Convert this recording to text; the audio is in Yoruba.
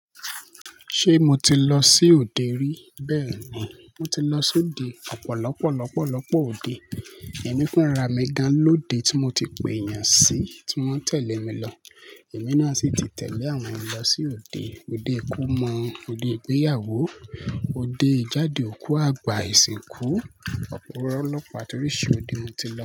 Ṣé mo ti lọ sí òde rí? Bẹ́ẹ̀ni, mo ti lọ sí òde. Ọ̀pọ̀lọpọ̀ lọpọlọpọ̀ òde. Ẹ̀mí fun ra mi gán lóde tí mo ti pe èèyàn sí tí wọ́n tẹ̀lé mi lọ. Ẹ̀mí náà sì ti tẹ̀lé àwọn mi lọ sí òde. Ode ìkómọ, ode ìgbéyàwó, ode ìjáde òkú, àgbà, ìsìnkú. Ọ̀pọ̀lọpọ̀ àti oríṣi òde mo ti lọ.